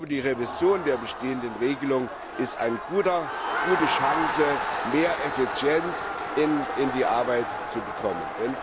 Die Revision der bestehenden Regelung ist eine gute Chance, mehr Effizienz in die Arbeit zu bekommen.